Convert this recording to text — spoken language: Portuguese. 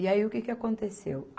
E aí o que que aconteceu?